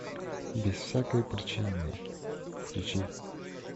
без всякой причины включи